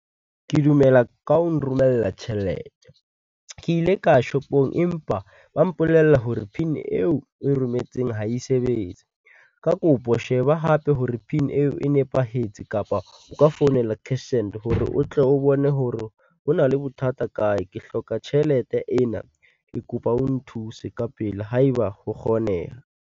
Ke dumela ka ho nromella tjhelete, ke ile ka ya shopong empa ba mpolella hore PIN-i eo e rometseng ha e sebetse. Ka kopo sheba hape hore PIN eo, e nepahetse kapa o ka founela cashsend hore o tle o bone hore ho na le bothata kae. Ke hloka tjhelete ena, ke kopa o nthuse ka pele ha e ba ho kgoneha.